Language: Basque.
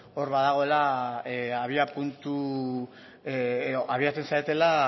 hor badagoela abia puntu edo abiatzen zaretela